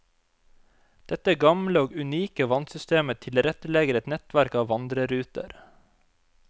Dette gamle og unike vannsystemet tilrettelegger et nettverk av vandreruter.